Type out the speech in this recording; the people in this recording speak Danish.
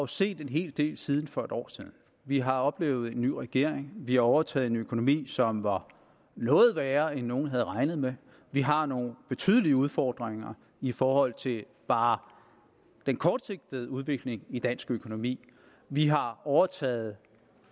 set en hel del siden for et år siden vi har oplevet en ny regering vi har overtaget en økonomi som var noget værre end nogen havde regnet med vi har nogle betydelige udfordringer i forhold til bare den kortsigtede udvikling i dansk økonomi vi har overtaget